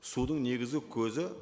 судың негізгі көзі